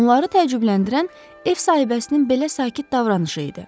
Onları təəccübləndirən ev sahibəsinin belə sakit davranışı idi.